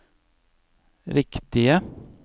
riktige